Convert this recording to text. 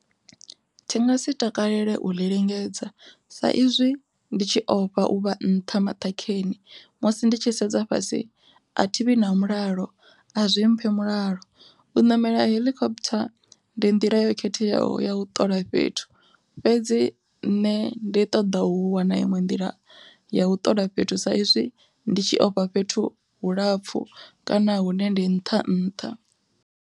Thi ngasi takalele uḽi lingedza, sa izwi ndi tshi ofha uvha nṱha maṱhakheni musi ndi tshi sedza fhasi a thivhi na mulalo a zwi mphi mulalo u ṋamela heḽikophutha ndi nḓila yo khetheaho ya u ṱola fhethu. Fhedzi nṋe ndi ṱoḓa u wana iṅwe nḓila ya u ṱola fhethu sa izwi ndi tshi ofha fhethu hu lapfhu kana hune ndi nṱha nṱha.